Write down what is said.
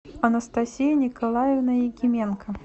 анастасия николаевна якименко